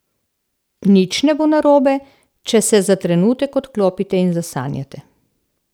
Nič ne bo narobe, če se za trenutek odklopite in zasanjate.